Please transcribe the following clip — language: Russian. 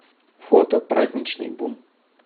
фото праздничный бум